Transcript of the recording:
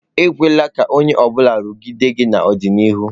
Ekwela ka onye ọ bụla rugide gị n'ọdịnihu.